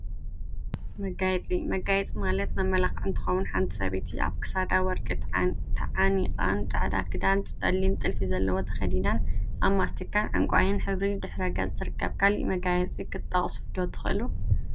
መጋየፂ መጋየፂ ማለት መመላክዒ እንትኸውን፤ ሓንቲ ሰበይቲ አብ ክሳዳ ወርቂ ተዓኒቃን ፃዕዳ ክዳን ፀሊም ጥልፊ ዘለዎ ተከዲናን አብ ማስቲካን ዕንቋይን ሕብሪ ድሕረ ገፅ ትርከብ፡፡ ካሊእ መጋየፂ ክትጠቅሱ ዶ ትክእሉ?